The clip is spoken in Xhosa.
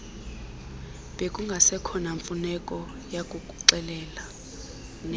bekungasekho namfuneko yakukuxelela